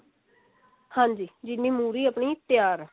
ਹਾਂਜੀ ਜਿੰਨੀ ਮੁਹਰੀ ਆਪਣੀ ਤਿਆਰ ਹੈ